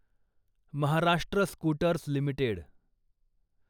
Maharashtra scooters limited